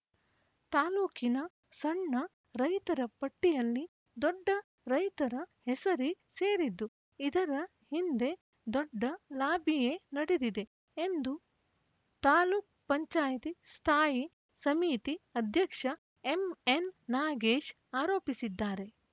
ತಾಲೂಕಿನ ಸಣ್ಣ ರೈತರ ಪಟ್ಟಿಯಲ್ಲಿ ದೊಡ್ಡ ರೈತರ ಹೆಸರೇ ಸೇರಿದ್ದು ಇದರ ಹಿಂದೆ ದೊಡ್ಡ ಲಾಬಿಯೇ ನಡೆದಿದೆ ಎಂದು ತಾಲೂಕ್ ಪಂಚಾಯ ತಿ ಸ್ಥಾಯಿ ಸಮಿತಿ ಅಧ್ಯಕ್ಷ ಎಂಎನ್‌ ನಾಗೇಶ್‌ ಆರೋಪಿಸಿದ್ದಾರೆ